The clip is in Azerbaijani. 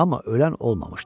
Amma ölən olmamışdı.